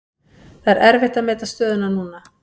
Það er erfitt að meta stöðuna núna.